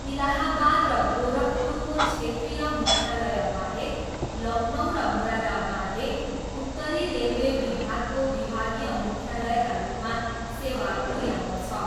इलाहाबाद र गोरखपुरको क्षेत्रीय मुख्यालयबाहेक, लखनऊ र मुरादाबादले उत्तरी रेलवे विभागको विभागीय मुख्यालयका रूपमा सेवा पुऱ्याउँदछ।